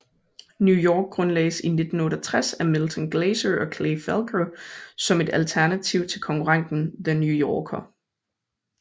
New York grundlagdes i 1968 af Milton Glaser og Clay Felker som et alternativ til konkurrenten The New Yorker